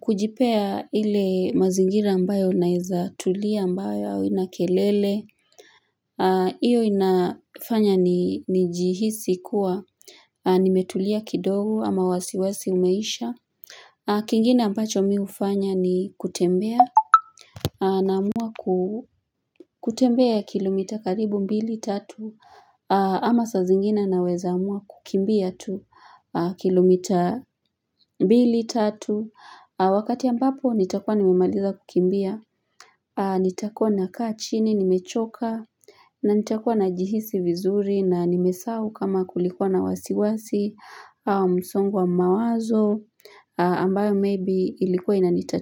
kujipea ile mazingira ambayo naeza tulia ambayo haina kelele hiyo inafanya ni jihisi kuwa nimetulia kidogo ama wasiwasi umeisha kingine ambacho mi hufanya ni kutembea Naamua kutembea kilomita karibu mbili tatu ama saa zingine naweza amua kukimbia tu kilomita mbili tatu wakati ambapo nitakuwa nimemaliza kukimbia nitakuwa nakaa chini nimechoka na nitakuwa na jihisi vizuri na nimesahu kama kulikuwa na wasiwasi au msongwa mawazo ambayo maybe ilikuwa inanita.